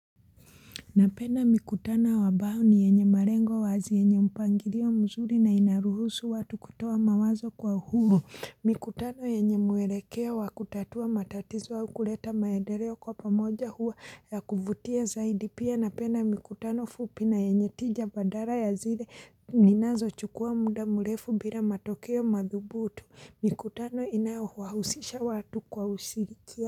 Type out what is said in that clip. Napenda mikutano ambayo ni yenye malengo wazi yenye mpangilio mzuri na inaruhusu watu kutoa mawazo kwa uhuru. Mikutano yenye mwelekeo wa kutatua matatizo au kuleta maendeleo kwa pamoja huwa ya kuvutia zaidi. Pia napenda mikutano fupi na yenye tija badala ya zile ninazochukua muda mrefu bila matokeo madhubutu. Mikutano inayowahusisha watu kwa ushirikiano.